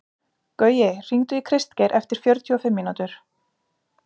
Gaui, hringdu í Kristgeir eftir fjörutíu og fimm mínútur.